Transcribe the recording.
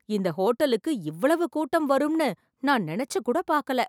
இந்த ஹோட்டலுக்கு இவ்வளவு கூட்டம் வரும் நான் நினைச்சு கூட பாக்கல